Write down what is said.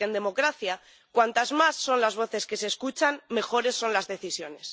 Porque en democracia cuantas más son las voces que se escuchan mejores son las decisiones.